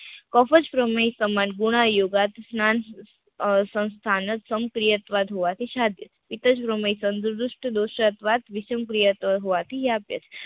કફ જ પ્રમેય સંબંધ ગુણ યોગા થી સ્નાન સંસ્થાનક સંકરિયાત્વાક હોવાથી સાધ ઈતારોમાંય તંદુરસ્ત હોવાથી